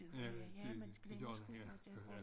Ja det det gør den ja